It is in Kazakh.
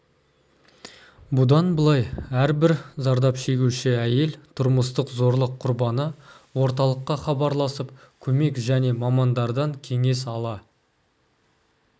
бұдан былай әрбір зардап шегуші әйел тұрмыстық зорлық құрбаны орталыққа хабарласып көмек және мамандардан кеңес ала